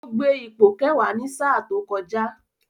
Ó gbé ipò Kẹ̀wá ní sà tó kọjá